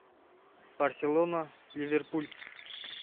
барселона ливерпуль